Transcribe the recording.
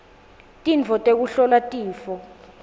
tintfo tekuhlola tifo